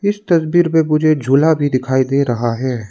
इस तस्वीर में मुझे झूला भी दिखाई दे रहा है।